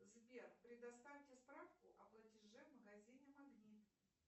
сбер предоставьте справку о платеже в магазине магнит